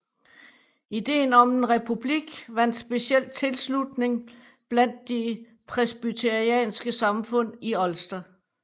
Ideen om en republik vandt specielt tilslutning blandt de presbyterianske samfund i Ulster